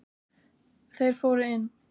Þeir fóru inn.